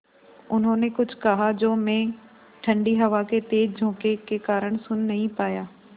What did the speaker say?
उन्होंने कुछ कहा जो मैं ठण्डी हवा के तेज़ झोंके के कारण सुन नहीं पाया